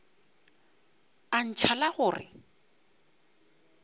a ntšha la go re